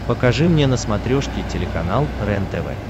покажи мне на смотрешке телеканал рентв